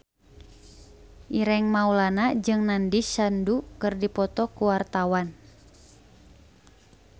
Ireng Maulana jeung Nandish Sandhu keur dipoto ku wartawan